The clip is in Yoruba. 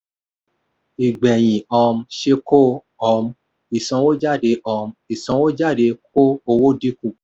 ìgbẹ̀yìn um ṣe kó um ìsanwójáde um ìsanwójáde kó owó dínkù.